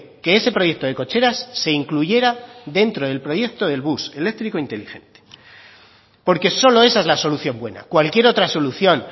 que ese proyecto de cocheras se incluyera dentro del proyecto del bus eléctrico inteligente porque solo esa es la solución buena cualquier otra solución